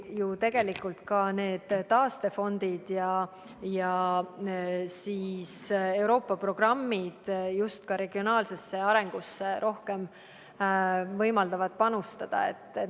Ja tegelikult ka need taastefondid ja Euroopa programmid võimaldavadki just regionaalsesse arengusse rohkem panustada.